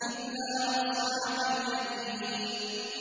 إِلَّا أَصْحَابَ الْيَمِينِ